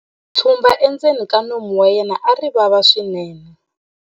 tshumba endzeni ka nomu wa yena a ri vava swinene